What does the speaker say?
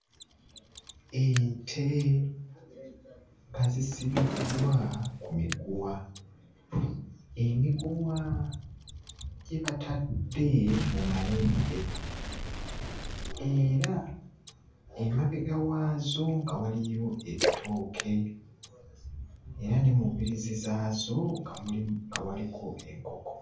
Ente nga zisibiddwa ku miguwa. Emiguwa gye batadde mu mayembe era emabega waazo nga waliyo ebitooke era ne mu mbiriizi zaazo nga mulimu nga waliko enkoko.